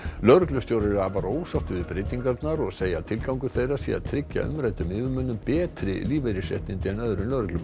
lögreglustjórar eru afar ósáttir við breytingarnar og segja að tilgangur þeirra sé að tryggja umræddum yfirmönnum betri lífeyrisréttindi en öðrum lögreglumönnum